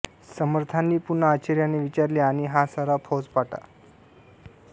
समर्थांनी पुन्हा आश्चर्याने विचारले आणि हा सारा फौजफाटा